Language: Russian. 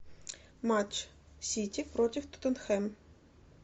матч сити против тоттенхэм